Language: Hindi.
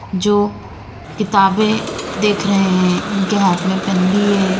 जो किताबें देख रहे हैं इनके हाथ में पेन भी है।